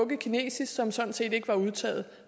kinesisk som sådan set ikke var udtaget